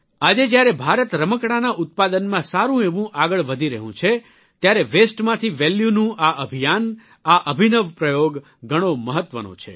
આજે જ્યારે ભારત રમકડાંના ઉત્પાદનમાં સારૂં એવું આગળ વધી રહ્યું છે ત્યારે વસ્તે માંથી વેલ્યુ નું આ અભિયાન આ અભિનવ પ્રયોગ ઘણો મહત્વનો છે